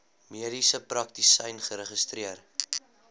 mediese praktisyn geregistreer